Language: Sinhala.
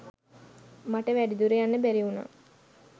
මට වැඩි දුර යන්න බැරි වුණා.